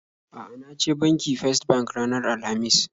A'a, na je banki First bank ranar Alhamis